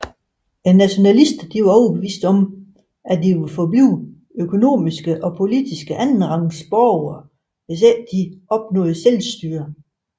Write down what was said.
Nationalister var overbeviste om at de ville forblive økonomisk og politiske andenrangs borgere hvis ikke de opnåede hjemmestyre